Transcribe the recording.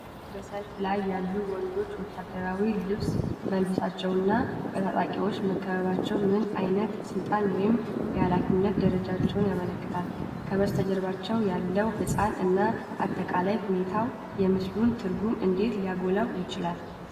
በሠልፉ ላይ ያሉት ወንዶች ወታደራዊ ልብስ መልበሳቸውና በታጣቂዎች መከበባቸው ምን ዓይነት የሥልጣን ወይም የኃላፊነት ደረጃን ያመለክታል? ከበስተጀርባው ያለው ሕንፃ እና አጠቃላይ ሁኔታው የምሥሉን ትርጉም እንዴት ሊያጎላው ይችላል?